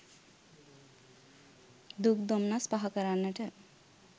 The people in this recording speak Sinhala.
දුක් දොම්නස් පහ කරන්නට